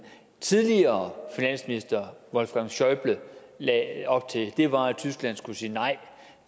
tidligere finansminister wolfgang schäuble lagde op til var at tyskland skulle sige nej